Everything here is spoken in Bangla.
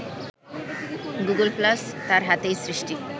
গুগল প্লাস তার হাতেই সৃষ্টি